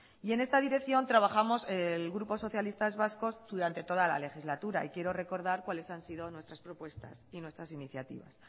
y en esta dirección trabajamos el grupo socialistas vascos durante toda la legislatura y quiero recordar cuáles han sido nuestras propuestas y nuestras iniciativas